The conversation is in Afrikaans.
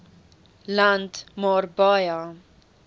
land maar baie